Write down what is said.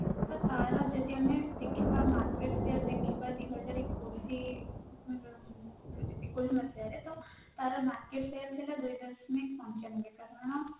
ତାର ଯଦି ଆମେ ଦେଖିବା market share ଦେଖିବା